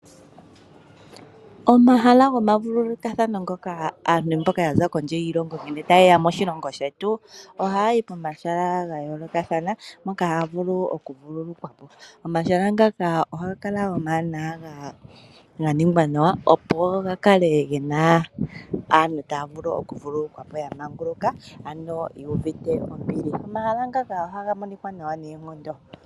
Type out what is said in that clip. Omahala gomavulukathano ngoka aantu mboka ya za kondje yoshilongo ngele taye ya moshilongo shetu, ohaya yi pomahala ga yoolokathana moka haya vulu okuvululukwa po. Omahala ohaga kala omawanawa ga ningwa nawa opo ga kale gena aantu taya vulu okuvululukwa po ya manguluka. Ano ye uvite ombili, omahala ngaka ohaga monikwa nawa noonkondo.